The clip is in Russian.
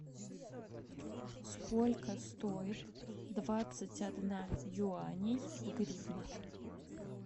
сколько стоит двадцать одна юаней в гривнах